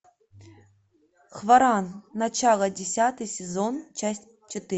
хваран начало десятый сезон часть четыре